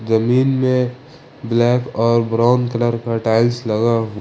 जमीन में ब्लैक और ब्राउन कलर का टाइल्स लगा हुआ--